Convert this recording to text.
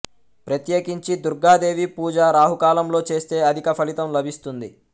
ప్రత్యేకించి దుర్గాదేవి పూజ రాహుకాలంలో చేస్తే అధిక ఫలితం లభిస్తుంది